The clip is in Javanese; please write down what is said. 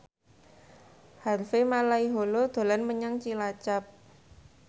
Harvey Malaiholo dolan menyang Cilacap